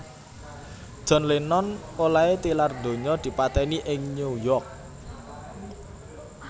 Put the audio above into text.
John Lennon olèhé tilar donya dipatèni ing New York